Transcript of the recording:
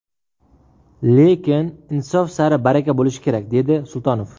Lekin insof sari baraka bo‘lishi kerak”, dedi Sultonov.